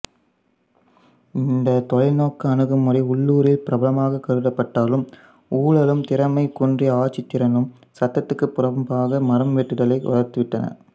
இந்த தொலைநோக்கு அணுகுமுறை உள்ளூரில் பிரபலமாகக் கருதப்பட்டாலும் ஊழலும் திறமை குன்றிய ஆட்சித்திறனும் சட்டத்துக்குப் புறம்பாக மரம்வெட்டுதலை வளர்த்து விட்டன